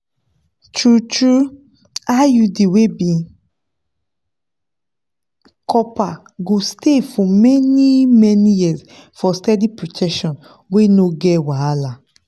true-true iud wey be copper go stay for many-many years for steady protection wey no get wahala.